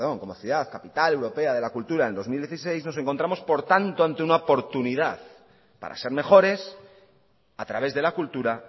como ciudad capital europea de la cultura en dos mil dieciséis nos encontramos por tanto ante una oportunidad para ser mejores a través de la cultura